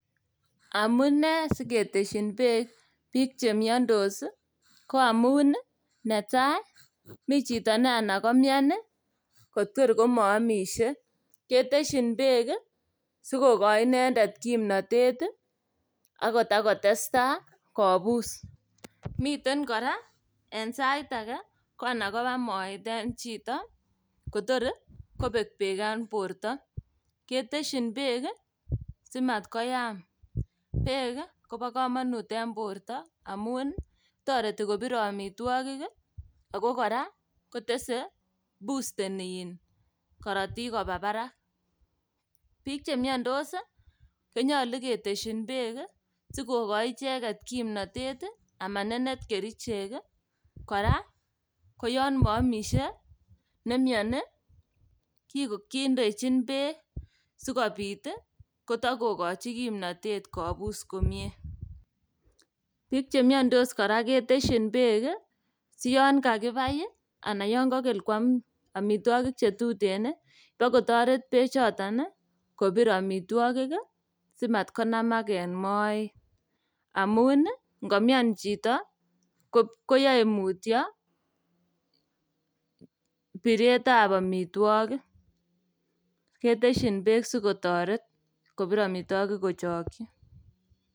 Amune siketesyin beek biik chemiondos ii koamun ii netai mi chito neanan komian ii kotor komoomisie, sikokochi inendet kimnotet ii ak itakotestai kobus. Miten kora en sait age koanan koba moet en chito kotokor kobek beek en borto ketesyin beek ii simatkoyam. Beek kobo komonut en borto amun toreti kobire omitwogik ii ago kora kotese busteni korotik koba barak. Biik chemiondos konyolu ketesyin beek ii sikokochi icheget kimnotet ii amanenet kerichek kora koyon moomisie nemioni kindechin beek sikobit kotokokochi kimnotet kobus komie. Biik chemiondos kora ketesyin beek ii siyon kakibai ii anan yon kokel kuam omitwogik chetuten ii ibokotoret bechoton ii kobir omitwogik ii simatkonamak en moet amun ii ngomian chito koyoe mutyo biretab omitwogik ketesyin sikotoret kobir omitwogik kochokyi.